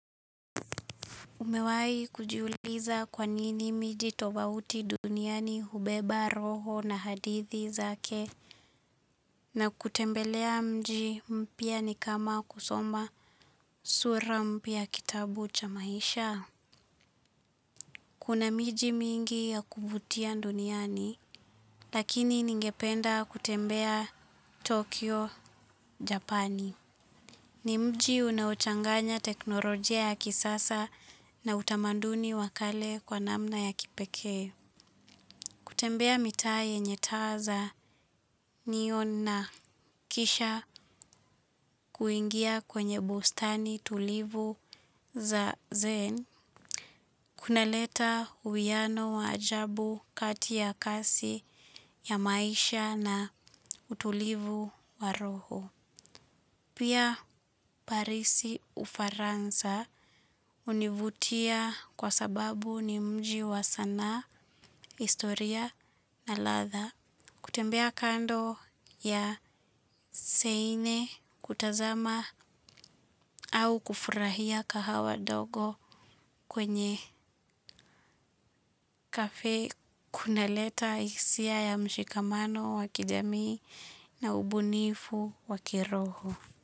Umewai kujiuliza kwa nini miji tofauti duniani hubeba roho na hadithi zake. Na kutembelea mji mpya ni kama kusoma sura mpya ya kitabu cha maisha. Kuna miji mingi ya kuvutia duniani. Lakini ningependa kutembea Tokyo, Japani. Ni mji unaochanganya teknolojia ya kisasa na utamaduni wa kale kwa namna ya kipekee. Kutembea mitaa yenye taa za neon na kisha kuingia kwenye bustani tulivu za zen, kunaleta uwiano wa ajabu kati ya kasi ya maisha na utulivu wa roho. Pia Paris Ufaransa hunivutia kwa sababu ni mji wa sanaa historia na ladha. Kutembea kando ya seine kutazama au kufurahia kahawa ndogo kwenye Cafe kunaleta hisia ya mshikamano wa kijamii na ubunifu wa kiroho.